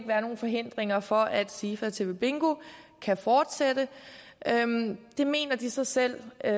være nogen forhindringer for at sifa tv bingo kan fortsætte det mener de så selv at